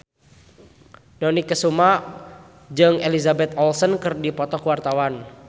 Dony Kesuma jeung Elizabeth Olsen keur dipoto ku wartawan